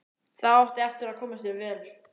Það átti eftir að koma sér vel.